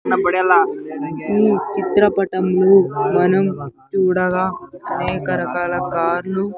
ఈ చిత్ర పటములు మనం చూడగా అనేక రకాల కార్ లు.